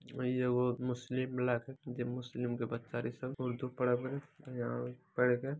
वही एगो मुस्लिम इलाके की मुस्लिम के बच्चे